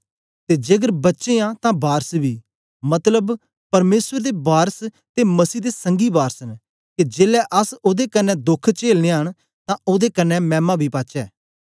ते जेकर बच्चे आं तां वारस बी मतलब परमेसर दे वारस ते मसीह दे संगी वारस न के जेलै अस ओदे कन्ने दोख चेलने न तां ओदे कन्ने मैमा बी पाचै